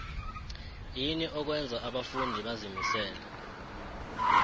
yini okwenza abafundi bazimisele